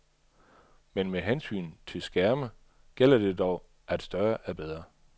Men med hensyn til skærme gælder det dog, at større er bedre.